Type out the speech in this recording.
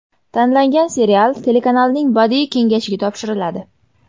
Tanlangan serial telekanalning Badiiy kengashiga topshiriladi.